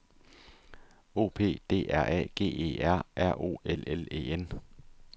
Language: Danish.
O P D R A G E R R O L L E N